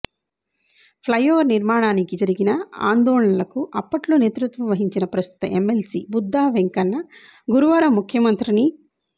flyover నిర్మాణానికి జరిగిన ఆందోళనలకు అప్పట్లో నేతృత్వం వహించిన ప్రస్తుత ఎమ్మెల్సీ బుద్దావెంకన్న గురువారం ముఖ్యమంత్రిని